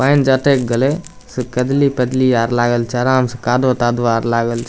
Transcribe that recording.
पेएन जे अटक गेले से कजली-पजली आर लागल छै आराम से कादो-तादो आर लागल छै।